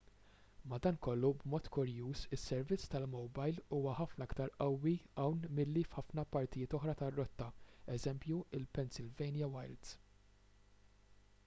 madankollu b'mod kurjuż is-servizz tal-mowbajl huwa ħafna iktar qawwi hawn milli f'ħafna partijiet oħra tar-rotta eż il-pennsylvania wilds